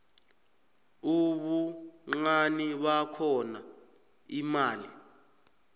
ubuncani bakhona imali